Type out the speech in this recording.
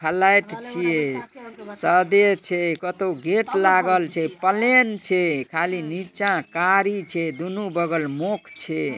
flat छे सादे छे कतो गेट लागल छे पलेन छे खाली निचा कारी छे दुनु बगल मोख छे|